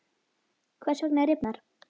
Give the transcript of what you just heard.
Hvers vegna rifnar?